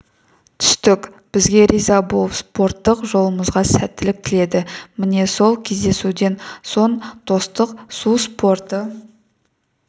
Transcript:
түстік бізге риза болып спорттық жолымызға сәттілік тіледі міне сол кездесуден соң достық су спорты